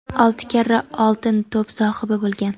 olti karra "Oltin to‘p" sohibi bo‘lgan.